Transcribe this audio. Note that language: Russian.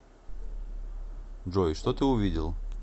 джой что ты увидел